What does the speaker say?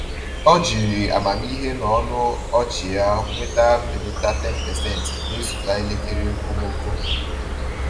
Ọ jiri amamihe na ọnụ ọchị ya nweta mbelata 10% n’ịzụta elekere okomoko.